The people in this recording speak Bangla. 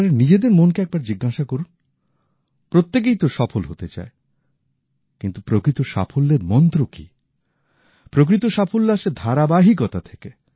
আপনারা নিজেদের মনকে একবার জিজ্ঞেস করুন প্রত্যেকেই তো সফল হতে চায় কিন্তু প্রকৃত সাফল্যের মন্ত্র কি প্রকৃত সাফল্য আসে ধারাবাহিকতা থেকে